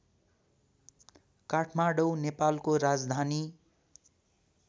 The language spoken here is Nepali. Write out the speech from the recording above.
काठमाडौ नेपालको राजधानी